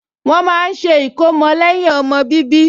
Wọ́n máa ń ṣe ìkómọ lẹ́yìn ọmọ bíbí